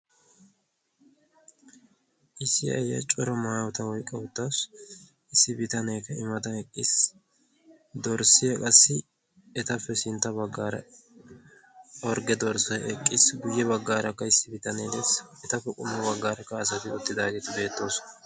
issi ayiya corra maayotta oyqqada eqqassu issi bittanekka i mattan eqissi dorsiya qassi ettappe sintta bagara eqqissi etappe guyessarakka hara assati beetosona.